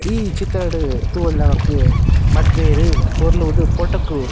ಈ ಚಿತ್ರಡ್ ತೂವೊಡ್ ನಮಕ್ ಮದ್ಮೆರ್ ಪೊರ್ಲು ಉಂತುದು ಫೊಟೊ ಕು --